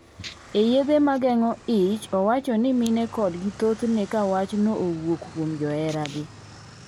E yedhe mageng'o ich, owacho ni mine kodgi thothne kawach no owuok kuom joheragi.